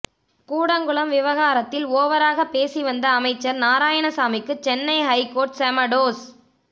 கூடங்குளம் விவகாரத்தில் ஓவராக பேசிவந்த அமைச்சர் நாரயணசாமிக்கு சென்னை ஹைகோர்ட் செம டோஸ்